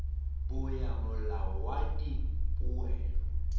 bo ya molao wa dipoelo